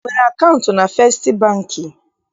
I nwere akaụntụ na Festị Bankị?